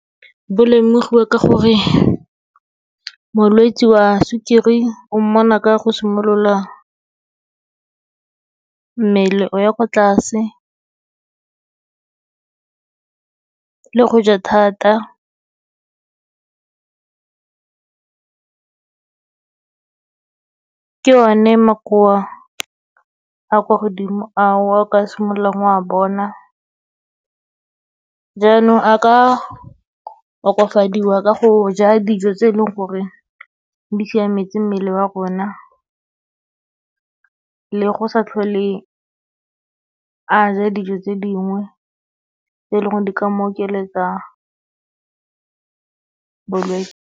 Bo lemogiwa ka gore molwetse wa sukiri, o mmona ka go simolola mmele o ya kwa tlase, le go ja thata. Ke one makoa a kwa godimo ao, a o ka simololang wa bona. Jaanong a ka okafadiwa ka go ja dijo tse e leng gore di siametse mmele wa rona, le go sa tlhole a ja dijo tse dingwe, tse e leng gore di ka mo okeletsa bolwetse.